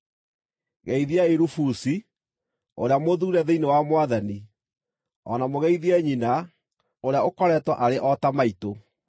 Geithiai Rufusi, ũrĩa mũthuure thĩinĩ wa Mwathani, o na mũgeithie nyina, ũrĩa ũkoretwo arĩ o ta maitũ.